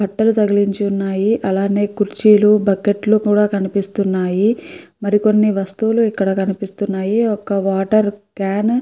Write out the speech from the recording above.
బట్టలు తగిలించి ఉన్నాయి. అలానే కుర్చీలు బకెట్లు కూడా కనిపిస్తున్నాయి. మరికొన్ని వస్తువులు ఇక్కడ కనిపిస్తున్నాయి. ఒక్క వాటర్ క్యాను --